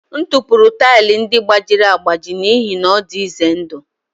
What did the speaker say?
M tụpụrụ taịlị ndị gbajiri agbaji n'ihi na ọ dị ize ndụ